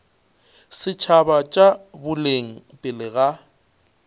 setšhaba tša boleng pele ga